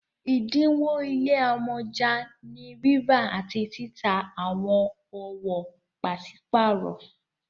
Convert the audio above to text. ẹdinwo ile amọja ni rírà àti títà àwọn owo paṣipaarọ